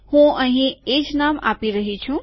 હું અહીં એજ નામ આપી રહ્યો છું